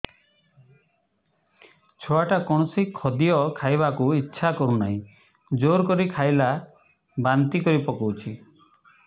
ଛୁଆ ଟା କୌଣସି ଖଦୀୟ ଖାଇବାକୁ ଈଛା କରୁନାହିଁ ଜୋର କରି ଖାଇଲା ବାନ୍ତି କରି ପକଉଛି